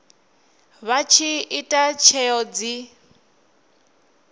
vha tshi ita tsheo dzi